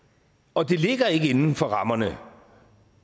og det ligger ikke inden for rammerne